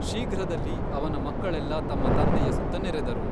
ಶೀಘ್ರದಲ್ಲಿ, ಅವನ ಮಕ್ಕಳೆಲ್ಲಾ ತಮ್ಮ ತಂದೆಯ ಸುತ್ತ ನೆರೆದರು.